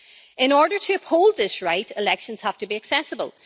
In order to uphold this right, elections have to be accessible.